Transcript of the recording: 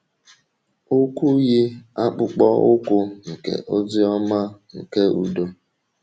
Ụkwụ yi akpụkpọ ụkwụ nke ozi ọma nke udo.